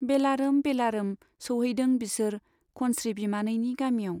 बेलारोम बेलारोम सौहैदों बिसोर खनस्री बिमानैनि गामियाव।